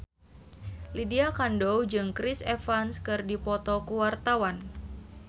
Lydia Kandou jeung Chris Evans keur dipoto ku wartawan